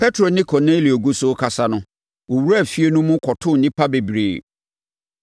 Petro ne Kornelio gu so rekasa no, wɔwuraa efie no mu kɔtoo nnipa bebree.